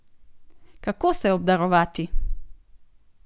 Kako se obdarovati?